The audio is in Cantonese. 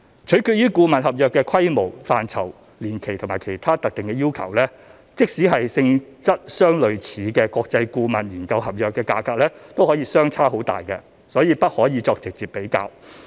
取決於顧問合約的規模、範疇、年期及其他特定要求，即使是性質相類似的國際顧問研究合約價格可以相差很大，所以不可以作直接比較。